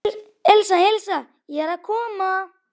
Elísa, Elísa, ég er að koma